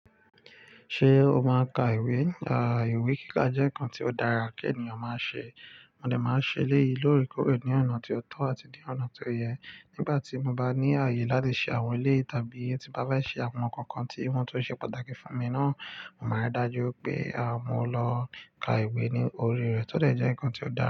Ṣé o máa ka ìwé? Àà ìwé kíkà jẹ́ nǹkan tí ó dára kí ènìyàn máa ṣe. Mo de màá n ṣe eléyi lóorekooreò ní ọ̀nà tí ó tọ́ àti ní ọ̀nà tí ó yẹ. Nígbà tí mo bá ní àyè láti ṣe àwọn eléyii tàbí tí mo bá fẹ́ ṣe àwọn ǹkan kan tí ìwọ́n tun ṣe pàtàkì fún mi náà, maa dájú pé àá mo lọ ka ìwé ní orí rẹ̀ tó dẹ̀ jẹ́ ǹkan tí ó dára.